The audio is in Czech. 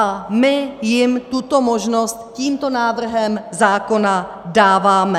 A my jim tuto možnost tímto návrhem zákona dáváme.